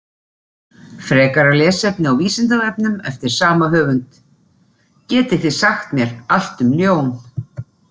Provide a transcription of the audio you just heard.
Frekara lesefni á Vísindavefnum eftir sama höfund: Getið þið sagt mér allt um ljón?